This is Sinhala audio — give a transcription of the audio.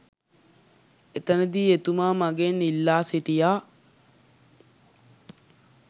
එතනදී එතුමා මගෙන් ඉල්ලා සිටියා